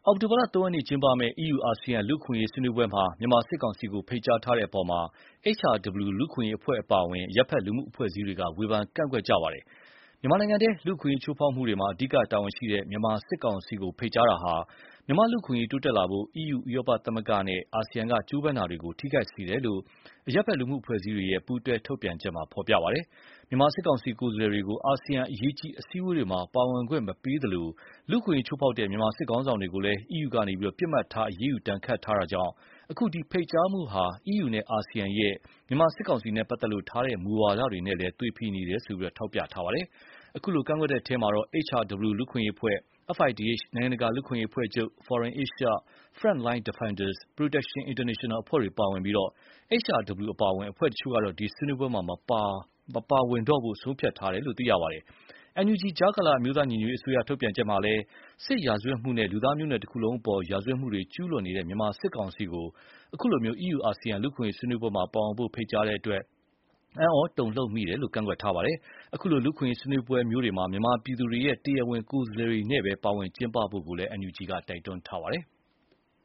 ောက်တိုဘာ ၃ ရက်နေ့ကျင်းပမယ့် EU ASEAN လူ့အခွင့်အရေးဆွေးနွေးပွဲမှာ မြန်မာစစ်ကောင်စီကို ဖိတ်ကြားထားတဲ့အပေါ် HRW လူ့အခွင့်အရေးအဖွဲ့အပါအဝင် အရပ်ဖက်လူမှုအဖွဲ့အစည်းတွေက ဝေဖန်ကန့်ကွက်နေကြပါတယ်။ မြန်မာနိုင်ငံတွင်း လူ့အခွင့်အရေးချိုးဖောက်မှုတွေမှာ အဓိကတာဝန်ရှိတဲ့ မြန်မာစစ်ကောင်စီကို ဖိတ်ကြားမှုဟာ မြန်မာလူ့အခွင့်အရေးတိုးတက်လာဖို့ အီးယူ-ဥရောပသမဂ္ဂနဲ့ အာဆီယံကကြိုးပမ်းမှုတွေကို ထိခိုက်စေတယ်လို့ အရပ်ဖက်လူ့အဖွဲ့အစည်းတွေရဲ့ ပူးတွဲထုတ်ပြန်ချက်မှာ ဖော်ပြပါတယ်။ မြန်မာစစ်ကောင်စီကိုယ်စားလှယ််တွေကို အာဆီယံ အရေးကြီးအစည်းအဝေးတွေမှာ ပါဝင်ခွင့်မပေးသလို လူ့အခွင့်အရေးချိုးဖောက်တဲ့ မြန်မာစစ်ခေါင်းဆောင်တွေကိုလည်း အီးယူက ပစ်မှတ်ထားအရေးယူဒဏ်ခတ်ထားတာကြောင့် အခုလို ဖိတ်ကြားမှုဟာ အီးယူနဲ့ အာဆီယံရဲ့ မြန်မာစစ်ကောင်စီနဲ့ပတ်သက်လို့ ထားတဲ့မူဝါဒတွေနဲ့လည်း သွေဖြည်နေတယ်လို့ ထောက်ပြထားပါတယ်။ အခုလို ကန့်ကွက်တဲ့အထဲမှာ HRW လူ့အခွင့်အရေးအဖွဲ့၊ FIDH နိုင်ငံတကာလူ့အခွင့်အရေးအဖွဲ့ချုပ်၊ Forum Asia၊ Front Line Defenders၊ Protection International အဖွဲ့တွေပါဝင်ပြီး၊ HRW အပါအဝင် အဖွဲ့တချို့ကတော့ ဒီဆွေးနွေးပွဲမှာ မပါဝင်တော့ဖို့ပါ ဆုံးဖြတ်ထားတယ်လို့ သိရပါတယ်။ NUG ကြားကာလ အမျိုးသားညီညွတ်ရေးအစိုးရ ထုတ်ပြန်ချက်မှာလည်း စစ်ရာဇတ်မှုနဲ့ လူသားမျိုးနွယ်တခုလုံးအပေါ်ရာဇဝတ်မှုတွေ ကျူးလွန်နေတဲ့ မြန်မာစစ်ကောင်စီကို အခုလို EU ASEAN လူ့အခွင့်အရေးဆွေးနွေးပွဲမှာ ပါဝင်ဖို့ ဖိတ်ကြားတဲ့အတွက် အံဩတုန်လှုပ်မိတယ်လို့ ကန့်ကွက်ထားပါတယ်။ အခုလို လူ့အခွင့်အရေးဆွေးနွေးပွဲမျိုးတွေမှာ မြန်မာပြည်သူရဲ့ တရားဝင်ကိုယ်စားလှယ်တွေနဲ့ပဲ ပါဝင်ကျင်းပဖို့လည်း NUG က တိုက်တွန်းပါတယ်။